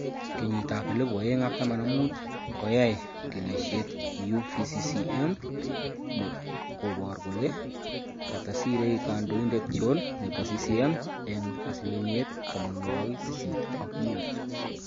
Kenyit ap 2015 Koyaai kiniisyet UVCCM nekoboor kole katasiire kandoindet John nebo CCM eng' asilimiet 85